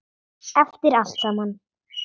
Eftir allt saman.